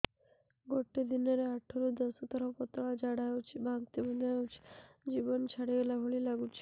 ଗୋଟେ ଦିନରେ ଆଠ ରୁ ଦଶ ଥର ପତଳା ଝାଡା ହେଉଛି ବାନ୍ତି ମଧ୍ୟ ହେଉଛି ଜୀବନ ଛାଡିଗଲା ଭଳି ଲଗୁଛି